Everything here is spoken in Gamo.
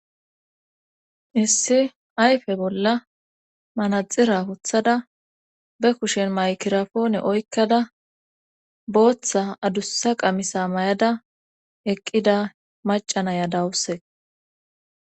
Issi ayfe bolla manaxira huthada be kushen maykirafoone oykkada booththa adussa qamisa may7ada eqqida macanaya dawuse.